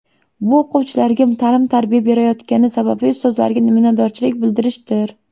Bu o‘quvchilarga ta’lim-tarbiya berayotgani sababli ustozlarga minnatdorchilik bildirishdir.